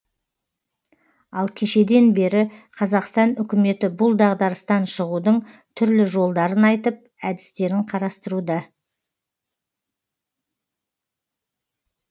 ал кешеден бері қазақстан үкіметі бұл дағдарыстан шығудың түрлі жолдарын айтып әдістерін қарастыруда